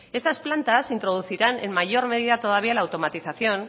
estas plantas introducirán en mayor medida todavía la automatización